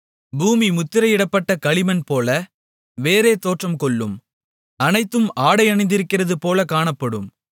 பூமி முத்திரையிடப்பட்ட களிமண்போல வேறே தோற்றம்கொள்ளும் அனைத்தும் ஆடை அணிந்திருக்கிறதுபோலக் காணப்படும்